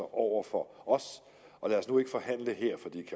over for os lad os nu ikke forhandle her for det